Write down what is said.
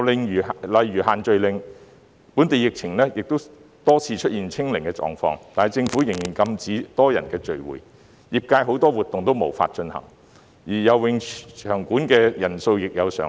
又例如限聚令，本地疫情已經多次出現"清零"狀況，但政府仍然禁止多人聚會，業界很多活動都無法進行，游泳場所的人數亦仍然設有上限。